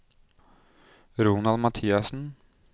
Ronald Mathiassen